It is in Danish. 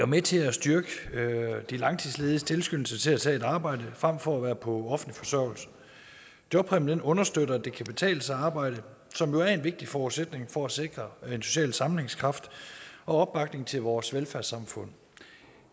med til at styrke de langtidslediges tilskyndelse til at tage et arbejde frem for at være på offentlig forsørgelse jobpræmien understøtter at det kan betale sig at arbejde som jo er en vigtig forudsætning for at sikre en social sammenhængskraft og opbakning til vores velfærdssamfund